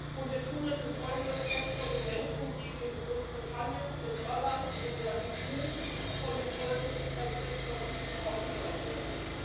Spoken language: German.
Und wir tun es in vollem Respekt vor den Menschen, die in Großbritannien, in Irland, in der EU von den Folgen des Brexits massiv betroffen sein werden.